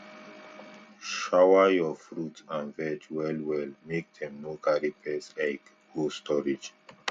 make um we thin maize wey too plenty so pest no go fit hide for um there